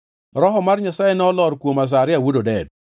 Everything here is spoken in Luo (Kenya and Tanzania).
Roho mar Nyasaye nolor kuom Azaria wuod Oded.